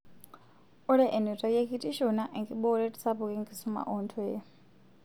Ore enutai ekitisho naa enkibooreet sapuk enkisuma oo ntoyie